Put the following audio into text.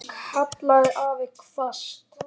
kallaði afi hvasst.